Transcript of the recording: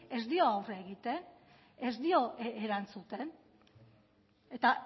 ez dio aurre egiten ez dio erantzuten eta